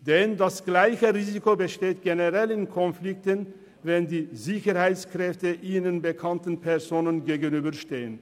Das gleiche Risiko besteht generell bei Konflikten, wenn Sicherheitskräfte ihnen bekannten Personen gegenüberstehen.